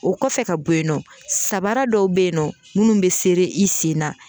O kɔfɛ ka bɔ yen nɔ sabaara dɔw be yen nɔ munnu bɛ serei i sen na.